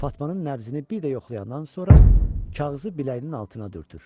Fatmanın nəbzini bir də yoxlayandan sonra kağızı biləyinin altına dürtür.